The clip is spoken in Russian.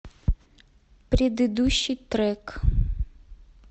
предыдущий трек